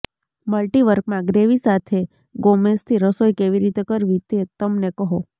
મલ્ટિવર્કમાં gravy સાથે ગોમેશથી રસોઈ કેવી રીતે કરવી તે તમને કહો